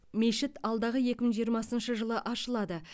мешіт алдағы екі мың жиырмасыншы жылы ашылады